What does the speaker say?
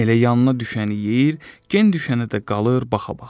Elə yanına düşəni yeyir, gen düşənə də qalır baxa-baxa.